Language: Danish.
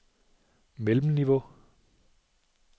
mellemniveau